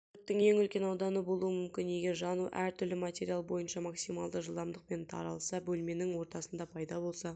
өрттің ең үлкен ауданы болуы мүмкін егер жану әр-түрлі материал бойынша максималды жылдамдықпен таралса бөлменің ортасында пайда болса